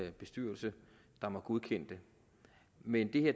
en bestyrelse der må godkende det men